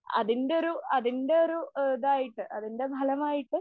അതിന്റെ ഒരു അതിന്റെ ഒരു ആ ഇതായിട്ട് അതിന്റെ ഫലമായിട്ട്